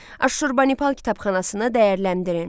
Aşşurbanipal kitabxanasını dəyərləndirin.